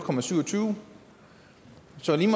så lige